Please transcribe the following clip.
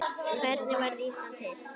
Hvernig varð Ísland til?